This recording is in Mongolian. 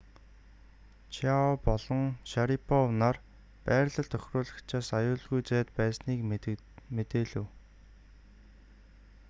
чиао болон шарипов нар байрлал тохируулагчаас аюулгүй зайд байсныг мэдээлэв